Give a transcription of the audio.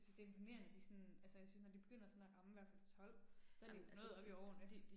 Jeg synes det er imponerende de sådan, altså jeg synes når de begynder sådan at ramme hvert fald 12, så er de jo noget oppe i årene